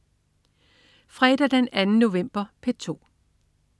Fredag den 2. november - P2: